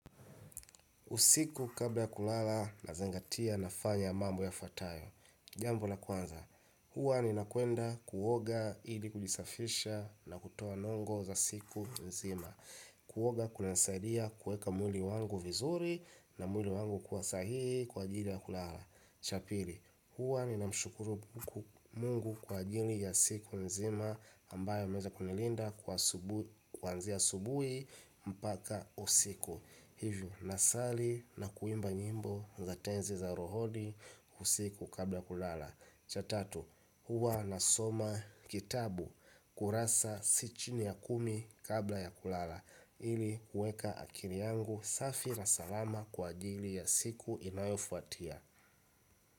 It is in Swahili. Usiku kabla ya kulala nazingatia nafanya mambo yafatayo jambo la kwanza, huwa ni nakwenda kuoga ili kujisafisha na kutoa nongo za siku nzima kuoga kuna saidia kuweka mwili wangu vizuri na mwili wangu kuwa sahihi kwa ajili ya kulala, cha pili, huwa nina mshukuru Mungu kwa ajili ya siku nzima ambayo ameweza kunilinda kuanzia asubui mpaka usiku. Hivyo nasali na kuimba nyimbo za tenzi za rohoni usiku kabla kulala cha tatu huwa nasoma kitabu kurasa si chini ya kumi kabla ya kulala ili kueka akili yangu safi na salama kwa ajili ya siku inayofuatia.